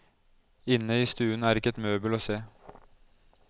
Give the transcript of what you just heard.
Inne i stuen er ikke et møbel å se.